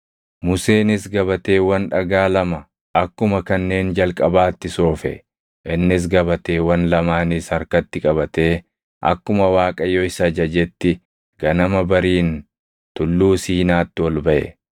Museenis gabateewwan dhagaa lama akkuma kanneen jalqabaatti soofe; innis gabateewwan lamaanis harkatti qabatee akkuma Waaqayyo isa ajajetti ganama bariin Tulluu Siinaatti ol baʼe.